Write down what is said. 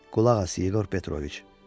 Qulaq as, İqor Petroviç!